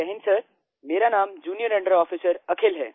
जय हिन्द सर मेरा नाम जूनियर अंडर आफिसर अखिल है